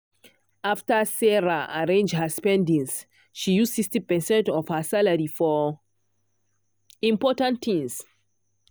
after sarah arrange her spendings she use 60 percent of her salary for important things.